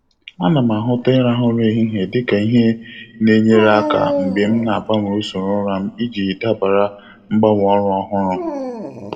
A na m ahụta ịrahụ ụra ehihie dị ka ihe n'enyere aka mgbe m na-agbanwe usoro ụra m iji dabara mgbanwe ọrụ ọhụrụ.